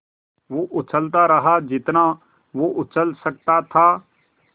वो उछलता रहा जितना वो उछल सकता था